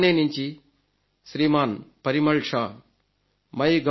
ఠాణే నుంచి శ్రీమాన్ పరిమళ్ షా మై